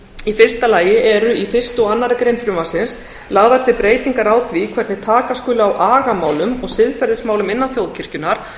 í fyrsta lagi eru í fyrstu og annarri grein frumvarpsins lagðar til breytingar á því hvernig taka skuli á agamálum og siðferðismálum innan þjóðkirkjunnar